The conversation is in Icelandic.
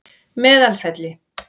Meðalfelli